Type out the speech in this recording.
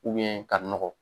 ka nɔgɔ.